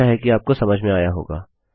आशा है कि आपको समझ में आया होगा